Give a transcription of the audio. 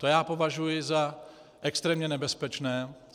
To já považuji za extrémně nebezpečné.